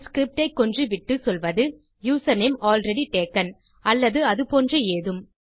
பின் script ஐ கொன்று விட்டு சொல்வது யூசர்நேம் ஆல்ரெடி டேக்கன் அல்லது அது போன்ற ஏதும்